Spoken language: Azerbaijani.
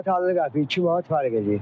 2 manat 50 qəpik, 2 manat fərq eləyir.